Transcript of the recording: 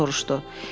O soruşdu.